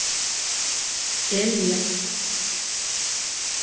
Elía